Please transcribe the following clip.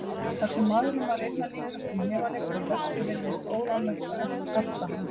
Ég hugsa um þennan háskalega leiðangur okkar um einstigi og ótroðnar slóðir, öll völundarhúsin, öngstrætin.